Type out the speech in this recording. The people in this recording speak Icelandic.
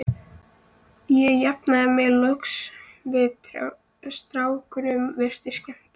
Ég jafnaði mig loks og strákunum virtist skemmt.